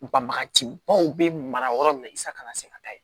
Bagaji baw be mara yɔrɔ min na i sa ka se ka taa yen